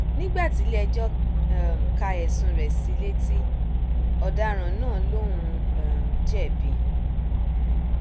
nígbà tílẹẹjọ um ka ẹsùn rẹ sí i létí ọdaràn náà lòún um jẹbi